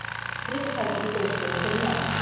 Tryllitækið í biðstöðu fyrir neðan.